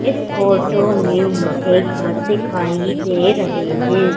इस फोटो में मुझे घर दिखाई दे रहे हैं।